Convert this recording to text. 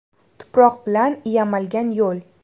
Tuproq bilan yamalgan yo‘l.